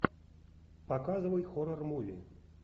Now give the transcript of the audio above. показывай хоррор муви